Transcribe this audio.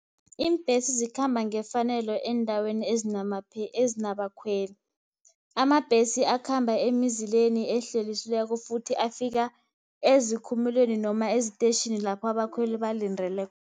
Iimbhesi zikhamba ngefanelo eendaweni ezinabakhweli. Amabhesi akhamba emizileni ehlelisweko, futhi afika ezikhumulweni noma eziteyitjhini lapha abakhweli